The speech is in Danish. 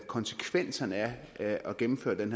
konsekvenserne af at gennemføre en